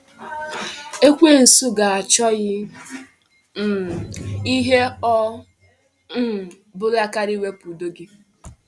Ekwensu ga-achọghị um ihe ọ um bụla karịa iwepu udo gị.